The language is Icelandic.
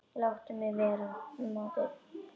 Láttu mig vera maður.